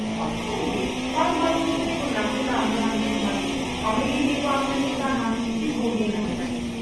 ọtụtụ mgbe gbalụ-gbalụ okwu ego na-akụda mmuọ ndị mmadụ ma megidekwa mmetụta ha dịka oge na-aga.